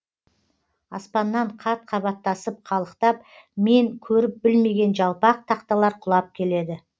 аспаннан қат қабаттасып қалықтап мен көріп білмеген жалпақ тақталар құлап келеді